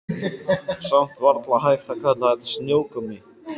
Samt varla hægt að kalla þetta snjókomu.